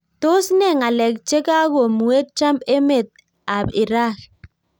Tos NE ngalek chekakomuee Trump emet ap Irak